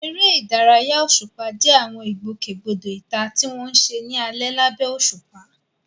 Eré ìdárayá òṣùpá jẹ́ àwọn ìgbòkègbodò ìta tí wọ́n ń ṣe ní alẹ́ lábẹ́ òṣùpá.